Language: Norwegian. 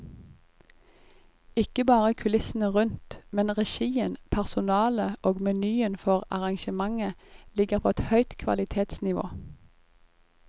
Ikke bare kulissene rundt, men regien, personalet og menyen for arrangementene ligger på et høyt kvalitetsnivå.